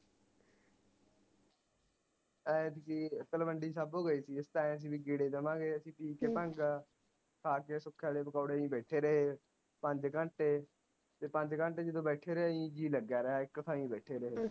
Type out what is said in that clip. ਐਤਕੀ ਤਲਵੰਡੀ ਸਾਬੋ ਗਏ ਸੀ ਗਏ ਅਸੀਂ ਪੀ ਕੇ ਭੰਗ ਖਾ ਕੇ ਵਾਲੇ ਪਕੌੜੇ ਅਸੀਂ ਬੈਠੇ ਰਹੇ ਪੰਜ ਘੰਟੇ ਤੇ ਪੰਜ ਘੰਟੇ ਜਦੋ ਬੈਠੇ ਰਹੇ ਆਹੀ ਜੀ ਲਗਿਆ ਰਿਹਾ ਇਕ ਥਾਈ ਬੈਠੇ ਰਹੇ